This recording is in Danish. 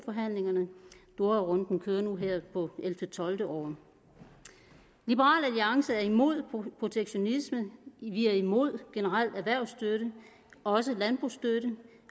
doharunden kører nu her på 11 tolvte år liberal alliance er imod protektionisme vi er imod generel erhvervsstøtte også landbrugsstøtte